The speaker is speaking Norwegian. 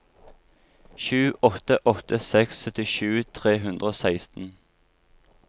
sju åtte åtte seks syttisju tre hundre og seksten